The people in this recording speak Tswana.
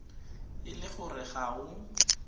e le gore ga o